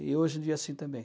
E hoje em dia assim também.